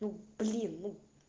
ну блин ну